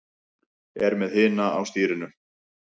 Er með hina á stýrinu.